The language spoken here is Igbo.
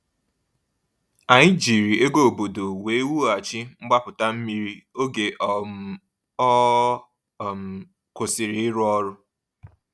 Anyị jiri ego obodo wee wughachi mgbapụta mmiri oge um ọ um kwụsịrị ịrụ ọrụ.